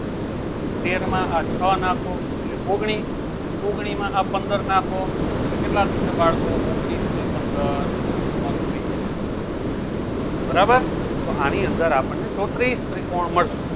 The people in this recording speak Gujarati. તેરમાં આ છ નાખો એટલે ઓગણીસ ઓગણીસમાં આ પંદર નાખો એટલે કેટલા થશે બાળકો ઓગણીસ ને પંદર ચોત્રીસ બરાબર તો આની અંદર આપણને ચોત્રીસ ત્રિકોણ મળશે